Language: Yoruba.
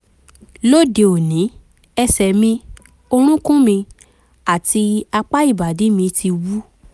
lóde òní ẹsẹ̀ mi orúnkún mi àti apá ìbàdí mi ti wú